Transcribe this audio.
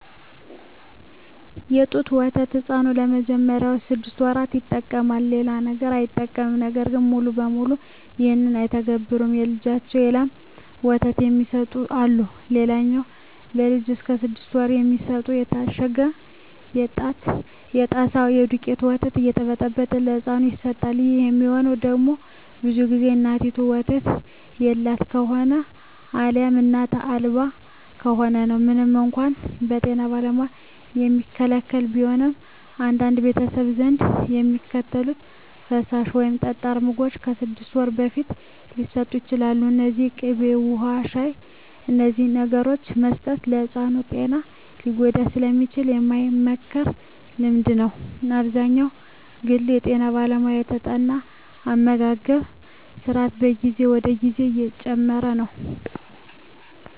የጡት ወተት ሕፃኑ ለመጀመሪያዎቹ ስድስት ወራት ይጠቀማል። ሌላ ነገር አይጠቀምም። ነገር ግን ሙሉ በሙሉ ይህን አይተገብሩትም። ለልጃቸው የላም ወተት የሚሰጡ አሉ። ሌላኛው ለልጅ እስከ ስድስት ወር የሚሰጠው የታሸገው የጣሳ የደውቄቱ ወተት እየተበጠበጠ ለህፃኑ ይሰጠዋል። ይህ የሚሆነው ደግሞ ብዙ ግዜ እናቲቱ ወተት የላት ከሆነ አልያም እናት አልባ ከሆነ ነው። ምንም እንኳን በጤና ባለሙያዎች የሚከለከል ቢሆንም፣ በአንዳንድ ቤተሰቦች ዘንድ የሚከተሉት ፈሳሽ ወይም ጠጣር ምግቦች ከስድስት ወር በፊት ሊሰጡ ይችላሉ። እነዚህም ቅቤ፣ ውሀ፣ ሻሂ…። እነዚህን ነገሮች መስጠት የሕፃኑን ጤና ሊጎዳ ስለሚችል የማይመከር ልምምድ ነው። አብዛኛውን ግዜ በጠና ባለሙያ የተጠና አመጋገብ ስራት ከጊዜ ወደ ጊዜ እየጨመረ ነው።